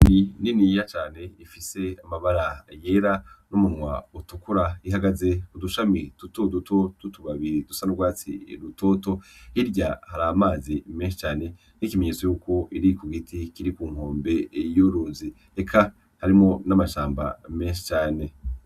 Inyoni niniya cane ifise amabara yera n'umunwa utukura, ihagaze ku dushami dutoduto tw'utubabi dusa n'urwatsi rutoto. Hirya hari amazi menshi cane nk'ikimenyetso cuko iri ku giti kiri ku nkombe y'uruzi, eka harimwo n'amashamba menshi cane.